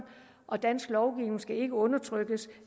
og dansk lovgivning skal ikke undertrykkes